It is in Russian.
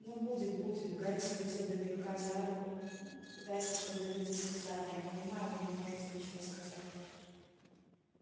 ну будет будет гарри схватил домовика за руку пытаясь остановить истязание я понимаю вы не можете ничего сказать